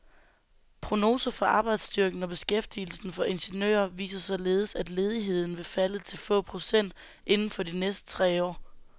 Prognoser for arbejdsstyrken og beskæftigelsen for ingeniører viser således, at ledigheden vil falde til få procent inden for de næste tre år.